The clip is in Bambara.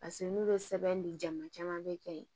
Paseke n'u bɛ sɛbɛn di jamu caman bɛ kɛ yen